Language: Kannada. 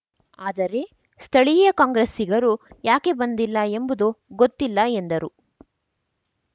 ಆದರೆ ಸ್ಥಳೀಯ ಕಾಂಗ್ರೆಸ್ಸಿಗರು ಯಾಕೆ ಬಂದಿಲ್ಲ ಎಂಬುದು ಗೊತ್ತಿಲ್ಲ ಎಂದರು